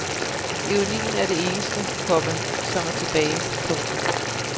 Ironien er det eneste, komma som er tilbage. punktum